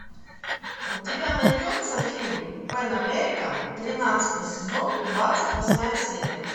у тебя найдется фильм пэн американ тринадцатый сезон двадцать восьмая серия